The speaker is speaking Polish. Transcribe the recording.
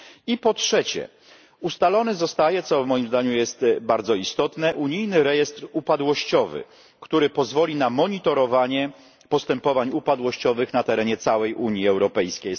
I po trzecie, ustalony zostaje co moim zdaniem jest bardzo istotne unijny rejestr upadłościowy, który pozwoli na monitorowanie postępowań upadłościowych na terenie całej Unii Europejskiej.